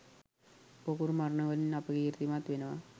පොකුරු මරණ වලින් අපකීර්තිමත් වෙනවා.